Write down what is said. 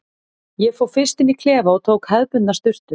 Ég fór fyrst inn í klefa og tók hefðbundna sturtu.